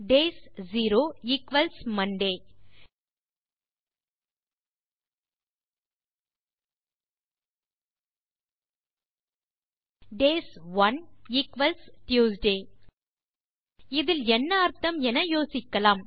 days zero equals Monday days one equals Tuesday இதில் என்ன அர்த்தம் என யோசிக்கலாம்